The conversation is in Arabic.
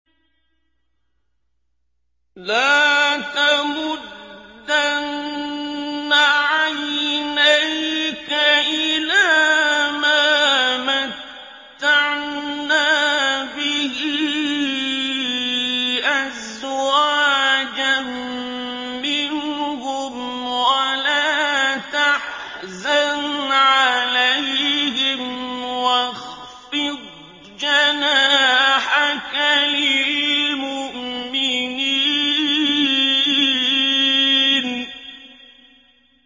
لَا تَمُدَّنَّ عَيْنَيْكَ إِلَىٰ مَا مَتَّعْنَا بِهِ أَزْوَاجًا مِّنْهُمْ وَلَا تَحْزَنْ عَلَيْهِمْ وَاخْفِضْ جَنَاحَكَ لِلْمُؤْمِنِينَ